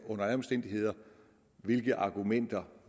uanset hvilke argumenter